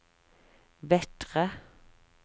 Vettre